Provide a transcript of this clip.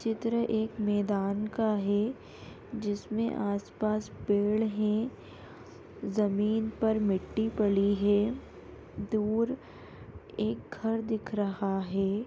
चित्र एक मैदान का है जिसमे आस-पास पेड़ है। ज़मीन पर मिट्टी पड़ी है। दूर एक घर दिख रहा है।